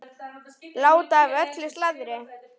Láta af öllu slaðri.